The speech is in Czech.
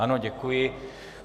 Ano, děkuji.